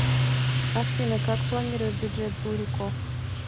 афина как планирует бюджет бурико